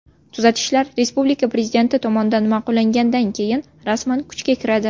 Tuzatishlar respublika prezidenti tomonidan ma’qullangandan keyin rasman kuchga kiradi.